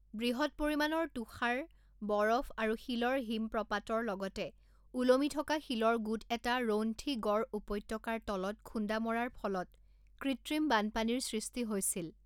বৃহৎ পৰিমাণৰ তুষাৰ, বৰফ আৰু শিলৰ হিমপ্ৰপাতৰ লগতে ওলমি থকা শিলৰ গোট এটা ৰৌন্থী গড় উপত্যকাৰ তলত খুন্দা মৰাৰ ফলত কৃত্ৰিম বানপানীৰ সৃষ্টি হৈছিল।